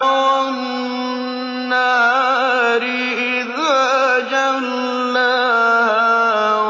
وَالنَّهَارِ إِذَا جَلَّاهَا